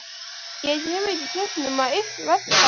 Ég hef ekki keypt nema eitt veggteppi